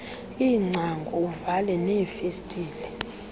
iingcango uvale neefestile